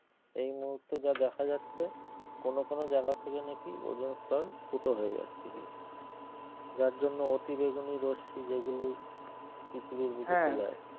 এই মুহূর্তে যা দেখা যাচ্ছে কোন কোন জায়গা থেকে নাকি ওজোন স্তর ফুটো হয়ে যাচ্ছে গিয়ে যার কারনে অতি বেগুনি রশ্মি যেগুলো পৃথিবীর বুকে চলে আসছে